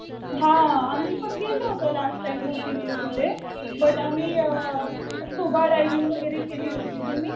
हा. आम्ही पण गेलो होतो लास्ट टाइम बोटीनेच तिथे. बट आम्ही स्कुबा डायविंग वगैरे केली होती. तुम्ही?